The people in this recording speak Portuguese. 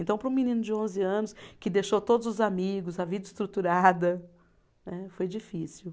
Então, para um menino de onze anos, que deixou todos os amigos, a vida estruturada, né, foi difícil.